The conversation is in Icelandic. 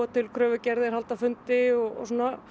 til kröfugerðir halda fundi og